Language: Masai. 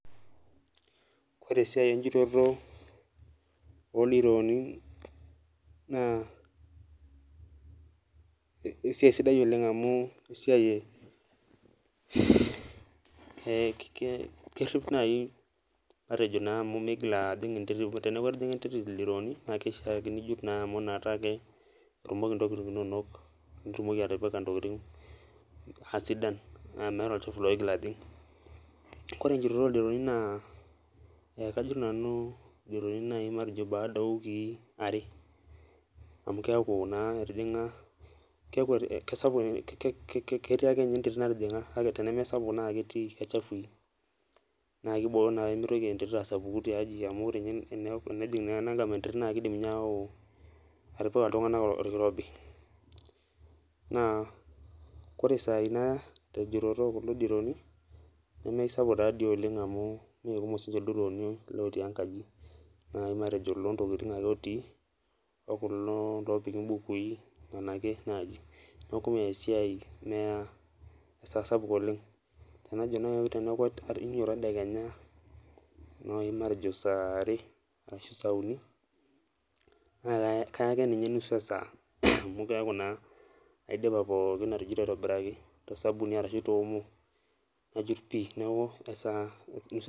Koree esiai enjutoto oldironi na esiaia sidai oleng amu esiai kerip nai matejo migil ajing enterit kake teneaku etijinga enterit ildirooni na kishaa pijut metaa petumoki ntokitin inonok aisidan meeta entoki naigil ajing koree enjutoto oldirooni naa kajut nanu ldirooni matejo baada owiki areamu keaku naa keaku e ketii akenye enterit natijinga nakibooyo mitoki enterit asapuku tiaji amu kidim nye ayau atipika ltunganak orkirobj na kore sainaya tenjutoto okulo dirooni nemeusapuk dii oleng amu mekumok ldirooni nai matejo olontokitin ake otii we ele nai opiki mbukuineaku meya esaa sapuk ,tanajo nai metaa kainyototo tedekenya nai matejo saaare ashubsauni na kaya akeenye nusu esaa amu keaku aidipa pookin atujuto tosabuni ashu teomo najut pii neaku.